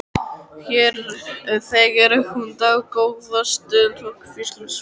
Hér þegir hún dágóða stund og hvíslar svo: